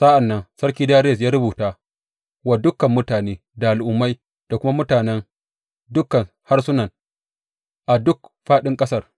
Sa’an nan Sarki Dariyus ya rubuta wa dukan mutane, da al’ummai da kuma mutanen dukan harsunan a duk fāɗin ƙasar.